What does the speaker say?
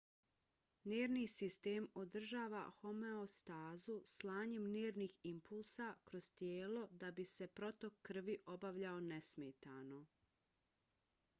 nervni sistem održava homeostazu slanjem nervnih impulsa kroz tijelo da bi se protok krvi obavljao nesmetano